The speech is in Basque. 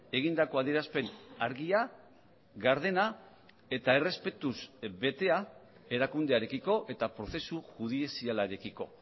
egindako adierazpen argia gardena eta errespetuz betea erakundearekiko eta prozesu judizialarekiko